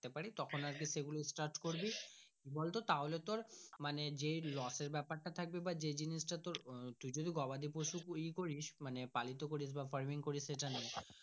তারপরে তখন সে গুলো start করবি কি বলতো তাহলে তোর মানে যেই লসের ব্যাপার তা থাকবে বা যেই জিনিস তা তোর আহ তুই যদি গবাদি পশু এ করিস মানে পালিত করিস বা farming করিস সে টা নয়।